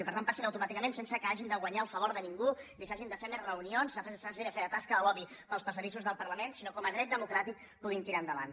i per tant que passin automàticament sense que hagin de guanyar el favor de ningú ni s’hagin de fer més reunions s’hagi de fer de tasca de lobby pels passadissos del parlament sinó que com a dret democràtic puguin tirar endavant